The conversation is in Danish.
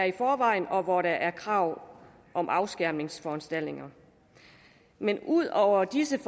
i forvejen og hvor der er krav om afskærmningsforanstaltninger men ud over disse